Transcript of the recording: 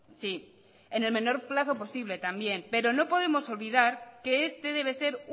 sí en el menor plazo posible también pero no podemos olvidar que este debe ser